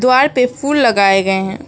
द्वार पे फूल लगाए गए हैं।